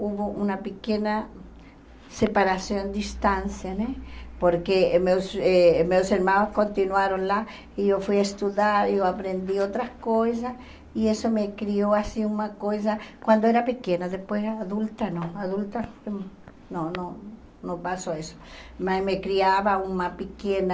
houve uma pequena separação, distância né, porque meus eh meus irmãos continuaram lá, e eu fui estudar, eu aprendi outras coisas, e isso me criou assim uma coisa, quando eu era pequena, depois adulta, não, adulta, não, não, não passou isso, mas me criava uma pequena...